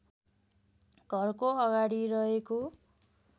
घरको अगाडि रहेको